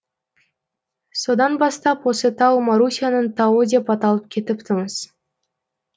содан бастап осы тау марусяның тауы деп аталып кетіпті мыс